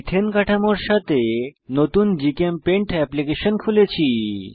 ethane কাঠামোর সাথে নতুন জিচেমপেইন্ট এপ্লিকেশন খুলেছি